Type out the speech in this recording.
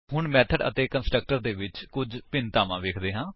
ਹੁਣ ਮੇਥਡ ਅਤੇ ਕੰਸਟਰਕਟਰ ਦੇ ਵਿੱਚ ਕੁੱਝ ਭਿੰਨਤਾ ਵੇਖਦੇ ਹਨ